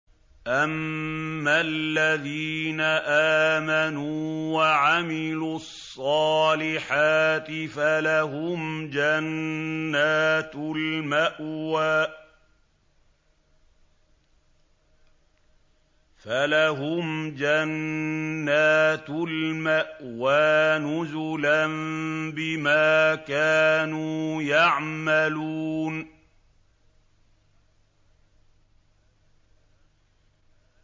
أَمَّا الَّذِينَ آمَنُوا وَعَمِلُوا الصَّالِحَاتِ فَلَهُمْ جَنَّاتُ الْمَأْوَىٰ نُزُلًا بِمَا كَانُوا يَعْمَلُونَ